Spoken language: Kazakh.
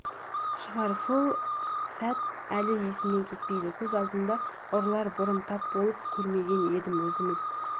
шығар сол сәт әлі есімнен кетпейді көз алдымда ұрыларға бұрын тап болып көрмеген едім өзіміз